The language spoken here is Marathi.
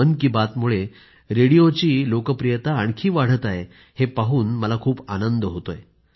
मन की बातमुळे रेडिओची आता आणखी लोकप्रियता वाढत आहे हे पाहून मला खूप आनंद होतोय